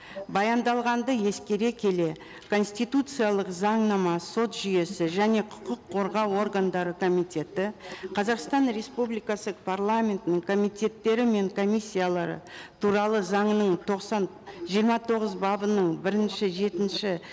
баяндалғанды ескере келе конституциялық заңнама сот жүйесі және құқық қорғау органдары комитеті қазақстан республикасы парламентінің комитеттері мен комиссиялары туралы заңының жиырма тоғыз бабының бірінші жетінші